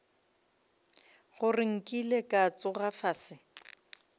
gore nkile ka tsoga fase